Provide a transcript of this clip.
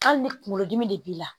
Hali ni kungolo dimi de b'i la.